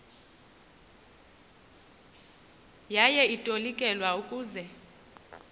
yaye itolikelwa ukuze